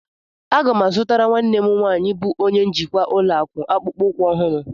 Aga m azụtara nwanne m nwaanyị bụ onye njikwa ụlọakụ akpụkpọ ụkwụ ọhụrụ.